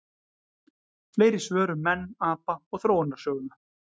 Fleiri svör um menn, apa og þróunarsöguna: